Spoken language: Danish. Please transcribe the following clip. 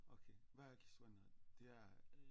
Okay hvad er Akisuanerit det er